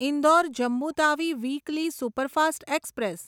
Indore Jammu Tawi weekly superfast express